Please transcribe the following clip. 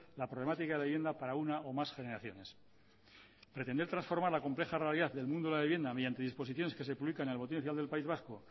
la problemática de vivienda para una o más generaciones pretender transformar la compleja realidad del mundo de la vivienda mediante disposiciones que se publican en el boletín oficial del país vasco